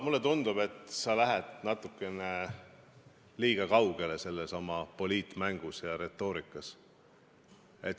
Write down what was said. Mulle tundub, et sa lähed natukene liiga kaugele selles oma poliitmängus ja retoorikas.